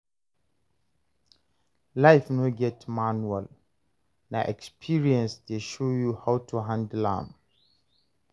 Life no get manual, na experience dey show you how to handle am.